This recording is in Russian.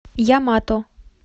ямато